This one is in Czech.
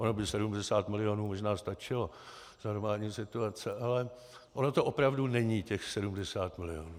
Ono by 70 milionů možná stačilo za normální situace, ale ono to opravdu není těch 70 milionů.